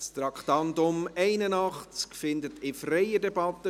Abstimmung (Geschäft 2019.POMGS.132;